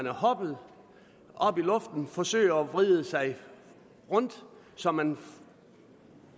hoppe op i luften og forsøger at vride sig rundt så man